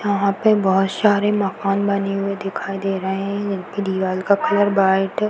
यहाँ पे बहोत सारे मकान बने हुए दिखाई दे रहे हैं। इनकी दिवाल का कलर व्हाइट --